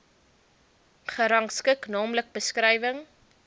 gerangskik naamlik beskrywing